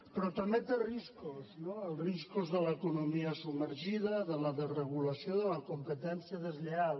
però també té riscos no els riscos de l’economia submergida de la desregulació de la competència deslleial